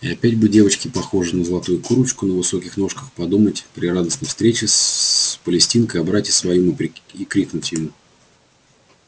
и опять бы девочке похожей на золотую курочку на высоких ножках подумать при радостной встрече с палестинкой о брате своём и крикнуть ему